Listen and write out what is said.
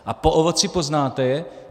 A po ovoci poznáte je.